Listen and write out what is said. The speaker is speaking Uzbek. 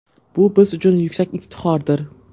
Bu biz uchun yuksak iftixordir.